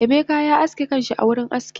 Emeka ya aske kanshi a wurin aski